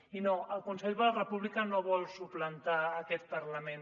i no el consell per la república no vol suplantar aquest parlament